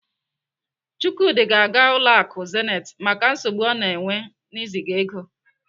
Chukwudi ga-aga ụlọ akụ Zenith maka nsogbu ọ na-enwe n'iziga ego.